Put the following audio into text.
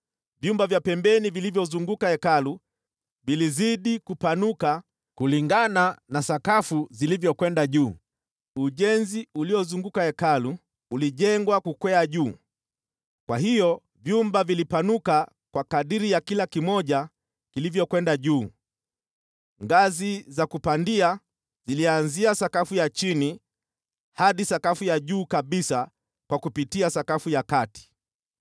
Vyumba vya pembeni vilivyozunguka Hekalu vilizidi kupanuka kulingana na sakafu zilivyokwenda juu. Ujenzi uliozunguka Hekalu ulijengwa kukwea juu, kwa hiyo vyumba vilipanuka kwa kadiri ya kila kimoja kilivyokwenda juu. Ngazi za kupandia zilianzia sakafu ya chini hadi sakafu ya juu kabisa kwa kupitia sakafu ya kati.